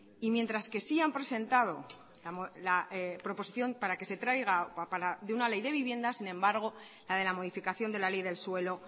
y mientras que sí han presentado la proposición para que se traiga de una ley de vivienda sin embargo la de la modificación de la ley del suelo